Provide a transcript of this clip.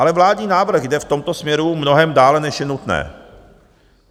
Ale vládní návrh jde v tomto směru mnohem dále, než je nutné.